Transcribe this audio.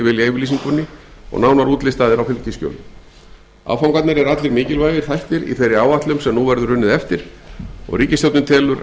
viljayfirlýsingunni og nánar útlistaðir á fylgiskjölum áfangarnir eru allir mikilvægir þættir í þeirri áætlun sem nú verður unnið eftir og ríkisstjórnin telur